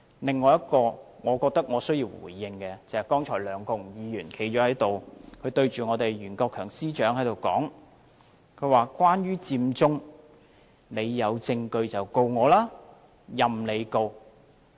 另一個我覺得我需要回應的發言內容，就是剛才梁國雄議員站着，對袁國強司長說："關於佔中，你有證據就告我，任你告"。